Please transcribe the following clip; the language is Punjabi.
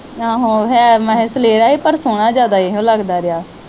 ਆਹੋ ਹੈ ਸਲੇਰਾ ਹੀ ਪਰ ਸੋਹਣਾ ਜਿਆਦਾ ਇਹੋ ਲਗਦਾ ਰਿਹਾ।